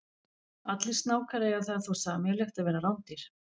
Allir snákar eiga það þó sameiginlegt að vera rándýr.